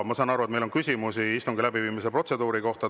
Ma saan aru, et meil on küsimusi istungi läbiviimise protseduuri kohta.